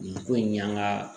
Nin ko in y'an ka